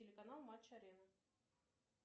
телеканал матч арена